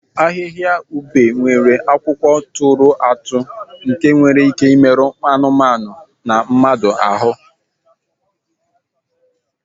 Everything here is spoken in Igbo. Ahịhịa ube nwere akwụkwọ tụrụ atụ nke nwere ike imerụ anụmanụ na mmadụ ahụ.